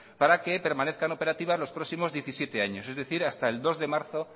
para que permanezcan operativas los próximos diecisiete años es decir hasta el dos de marzo